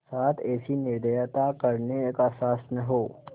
साथ ऐसी निर्दयता करने का साहस न हो